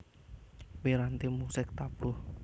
Piranti musik tabuh